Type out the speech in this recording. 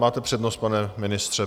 Máte přednost, pane ministře.